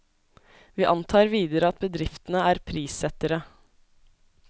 Vi antar videre at bedriftene er prissettere.